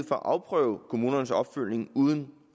for at afprøve kommunernes opfølgning uden